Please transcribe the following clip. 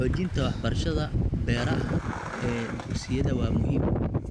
Xoojinta waxbarashada beeraha ee dugsiyada waa muhiim.